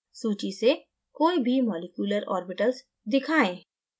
सूची से कोई भी मॉलिक्यूलर orbital दिखाना